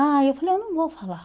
Aí eu falei, eu não vou falar.